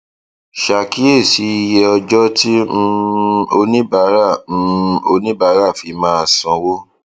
ṣàkíyèsí iye ọjọ tí um oníbàárà um oníbàárà fi máa sanwó